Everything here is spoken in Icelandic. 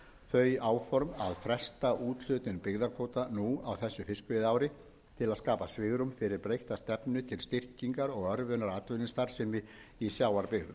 þau áform að fresta úthlutun byggðakvóta nú á þessu fiskveiðiári til að skapa svigrúm fyrir breytta stefnu til styrkingar og örvunar atvinnustarfsemi í sjávarbyggðum